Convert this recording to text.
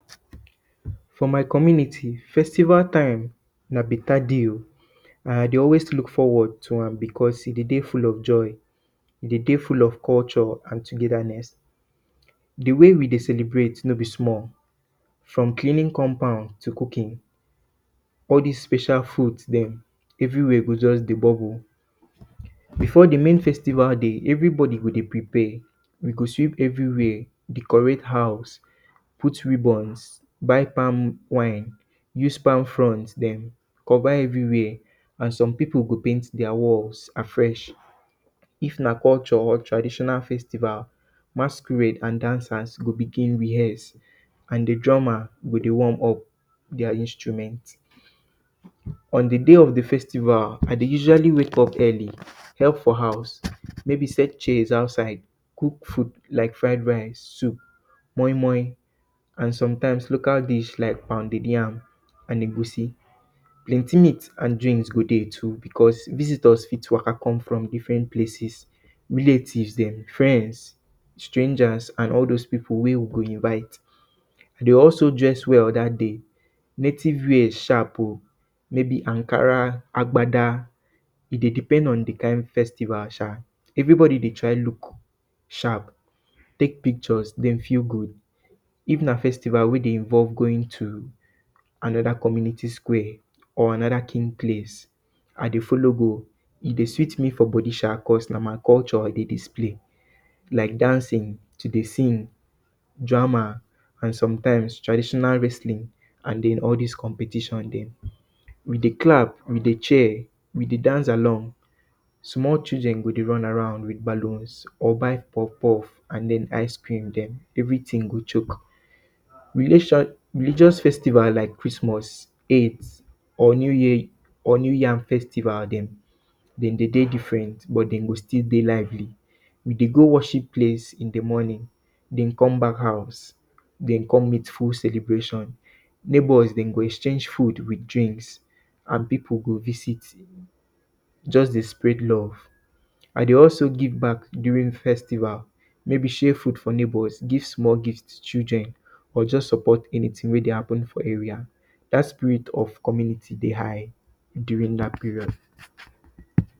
For my community, festival time na beta day o. and I dey always look forward to am because e dey dey full of joy, e dey dey full of culture and togetherness. di way we dey celebrate no bi small. From cleaning compound to cooking. All dis special foods dem, everywhere go just dey bubble. Before di main festival day, everybody go dey prepare, we go sweep everywhere, decorate house, put ribbons, buy palm wine, use palm fronds dem cover everywhere. Some pipu go paint dia walls afresh. If na culture or traditional festival, masquerades and dancers go begin rehearse and di drummers go dey warm up dia instruments. On di day of di festival, I dey usually wake up early, help for house. Maybe set chairs outside, cook food lak fried rice, soup, moimoi and sometimes local dish, lak pounded yam and egusi. Plenti meat and drink go dey too because visitors fit waka come from different places, relatives dem, friends, strangers and all those pipu wey we go invite. De also dress well dat day, native wear sharp o. maybe Ankara, agbada, e dey depend on di kind festival sha. Everybody dey try look sharp, tek picture, den feel good. If na festival wey dey involve going to anoda community square, or anoda kin place, I dey follow go, e dey sweet me for body sha because na my culture I dey display, lak dancing, to dey sing, drama and sometimes traditional wrestling and den all dis competition dem. we dey clap, we dey cheer, we dey dance along. Small children go dey run around with ballon or buy puff-puff or ice cream dem everytin go choke. Religious festival lak kristmos, or new yam festival dem, dem dey dey different, but de go still dey lively. We dey go worship place in di morning, den come back house, den come back house, den come meet full celebration. Neighbours dem go exchange food with drinks and pipu go visit, just dey spread love. I dey also give back during festivals, maybe share gifts to neighbors, give small gifts to children or just support anytin wey dey happen for area. Dat spirit of community dey high during dat period.